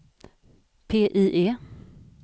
PIE